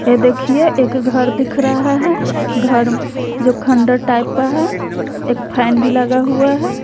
यह देखिए एक घर दिख रहा है घर जो खंडहर टाइप का है एक फैन भी लगा हुआ है।